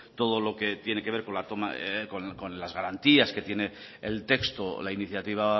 todo lo que tiene que ver con las garantías que tiene el texto o la iniciativa